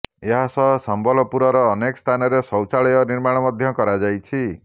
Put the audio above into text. ଏହାସହ ସମ୍ବଲପୁରର ଅନେକ ସ୍ଥାନରେ ଶୌଚାଳୟ ନିର୍ମାଣ ମଧ୍ୟ କରାଯାଇଛି